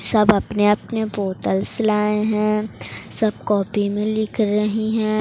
सब अपने अपने बोतलस लाए हैं सब कॉपी में लिख रही हैं।